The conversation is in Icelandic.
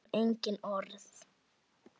Það þarf engin orð.